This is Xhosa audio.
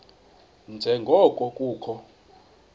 nje ngoko kukho